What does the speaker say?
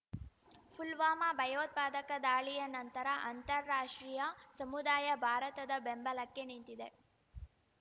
ಪುಲ್ವಾಮಾ ಭಯೋತ್ಪಾದಕ ದಾಳಿಯ ನಂತರ ಅಂತರರಾಷ್ಟ್ರೀಯ ಸಮುದಾಯ ಭಾರತದ ಬೆಂಬಲಕ್ಕೆ ನಿಂತಿದೆ